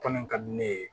Kɔni ka di ne ye